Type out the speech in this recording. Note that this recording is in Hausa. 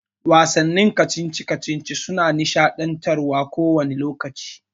Wasannin kacici-kacici suna nishaɗantarwa kowani lokaci.